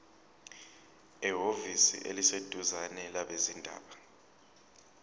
ehhovisi eliseduzane labezindaba